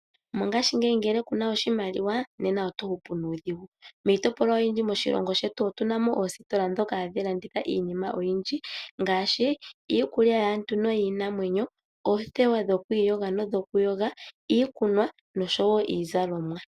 Mongaashingeyi ngele kuna oshimaliwa nena oto hupu nuudhigu. Miitopolwa oyindji moshilongo shetu otuna mo oositola dhoka hadhi landitha iinima oyindji ngaashi iikulya yaantu niinamwenyo, oothewa dhokwiiyoga nodhokuyoga, iikunwa noshowo iizalomwa.